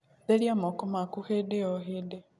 Therĩa moko maku hĩndĩ o hĩndĩ